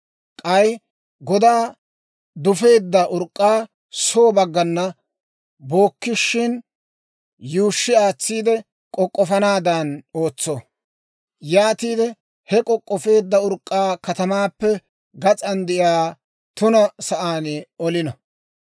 K'ay godaa dufeedda urk'k'aa soo baggana bookkishin, yuushshi aatsiide k'ok'k'ofanaadan ootso; yaatiide he k'ok'k'ofeedda urk'k'aa katamaappe gas'an de'iyaa tuna sa'aan olino.